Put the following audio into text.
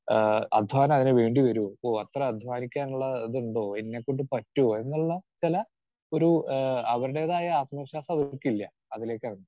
Speaker 2 ആഹ് അധ്വാനം അതിനു വേണ്ടി വരുമോ? ഓഹ് എത്ര അധ്വാനിക്കാനുള്ള അതുണ്ടോ? എന്നെക്കൊണ്ട് പറ്റ്വോ? എന്നുള്ള ചില ഒരു ആഹ് അവരുടേതായ ആത്മവിശ്വാസം അവർക്കില്ല. അതിലേക്കാണ്